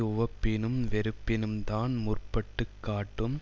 உவப்பினும் வெறுப்பினும் தான் முற்பட்டு காட்டும்